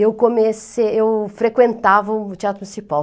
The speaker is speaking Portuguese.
Eu comecei eu frequentava o Teatro Municipal.